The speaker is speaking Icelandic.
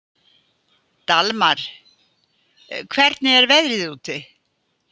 Dalmar, hvernig er veðrið úti?